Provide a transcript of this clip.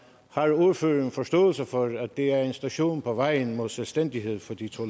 har ordføreren forståelse for at det er en station på vejen mod selvstændighed for de to